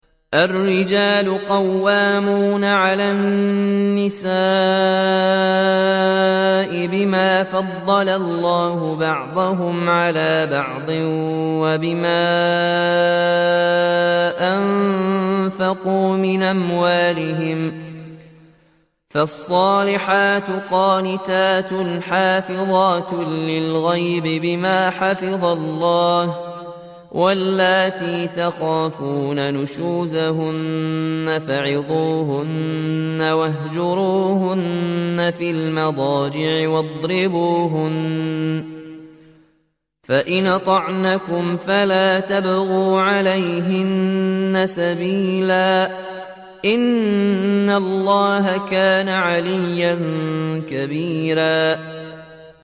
الرِّجَالُ قَوَّامُونَ عَلَى النِّسَاءِ بِمَا فَضَّلَ اللَّهُ بَعْضَهُمْ عَلَىٰ بَعْضٍ وَبِمَا أَنفَقُوا مِنْ أَمْوَالِهِمْ ۚ فَالصَّالِحَاتُ قَانِتَاتٌ حَافِظَاتٌ لِّلْغَيْبِ بِمَا حَفِظَ اللَّهُ ۚ وَاللَّاتِي تَخَافُونَ نُشُوزَهُنَّ فَعِظُوهُنَّ وَاهْجُرُوهُنَّ فِي الْمَضَاجِعِ وَاضْرِبُوهُنَّ ۖ فَإِنْ أَطَعْنَكُمْ فَلَا تَبْغُوا عَلَيْهِنَّ سَبِيلًا ۗ إِنَّ اللَّهَ كَانَ عَلِيًّا كَبِيرًا